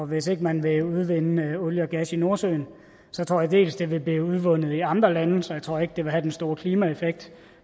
hvis ikke man vil udvinde olie og gas i nordsøen tror jeg det vil blive udvundet i andre lande så jeg tror ikke det vil have den store klimaeffekt